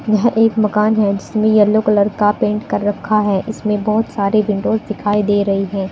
यह एक मकान है जिसमें येलो कलर का पेंट कर रखा इसमें बहुत सारे विंडो दिखाई दे रही है।